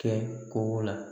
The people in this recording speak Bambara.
Kɛ kogo la